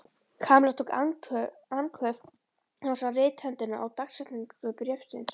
Kamilla tók andköf þegar hún sá rithöndina og dagsetningu bréfsins.